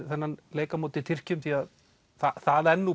þennan leik á móti Tyrkjum því að það er